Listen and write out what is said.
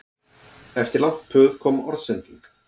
Eftir langt puð kom orðsending